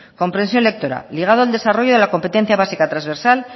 comprensión lectora ligado al desarrollo de la competencia básica transversal